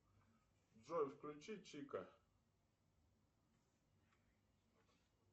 джой включи чика